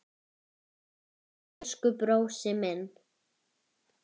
Elsku brósi minn.